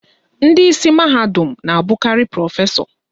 Ndị isi mahadum na-abụkarị prọfesọ